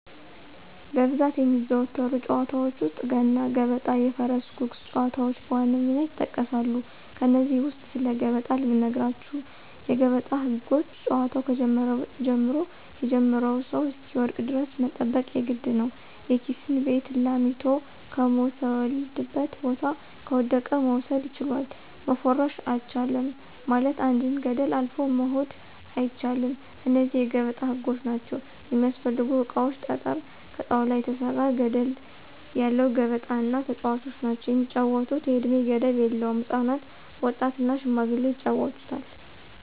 በብዛት የሚዘወተሩ ጨዋታዎች ውስጥ፦ ገና ገበጣ የፈረስ ጉጉስ ጨዋታዎች በዋነኝነት ይጠቀሳሉ። ከነዚህ ውስጥ ስለ ገበጣ ልንገራችሁ የገበጣ ህጎች ጨዋታው ከጀመረ ጀምሮ የጀመረው ሰው እሰሚወድቅ ደረስ መጠበቅ የግድ ነው፦ የራሲን ቤት ላሚቶ ከምተወልድበት ቦታ ከወደቀ መውሰድ ችላል፣ መፎረሽ አቻልም ማለትም አንድን ገደል አልፎ መሆድ አይቻል እነዚህ የገበጣ ህጎች ናቸው። የሚስፈልጉ እቃዎች ጠጠረ፣ ከጣውላ የተሰራ ገደለ ያለው ገበጣ እና ተጨዋቾች ናቸው። የሚጫወቱት የእድሜ ገደብ የለውም ህፃናት፣ ወጣት እና ሽማግሌዎች ይጫወቱታል።